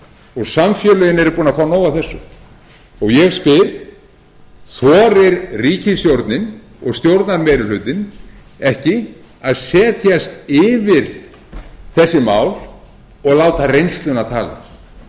og samfélögin eru búin að fá nóg af þessu og ég spyr þorir ríkisstjórnin og stjórnarmeirihlutinn ekki að setjast yfir þessi mál og láta reynsluna tala